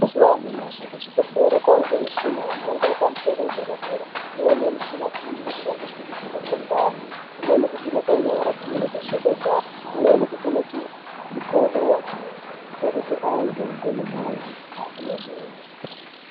Mazuva anyamashi kuzvibhedhlera kwava nemuchini yemhando yepamusoro yedera dera, imweni michina inoshandiswa kuvheneke ndani, imweni kuvheneka nyara dzinenge dzasvodoka, imweni inovheneke mikodo achitarise antu kwomene.